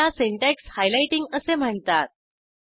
ह्याला syntax highlighting असे म्हणतात